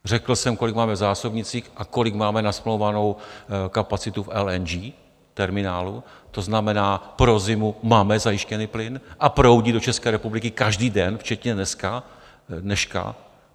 Řekl jsem, kolik máme v zásobnících a kolik máme nasmlouvanou kapacitu v LNG terminálu, to znamená, pro zimu máme zajištěný plyn a proudí do České republiky každý den včetně dneška.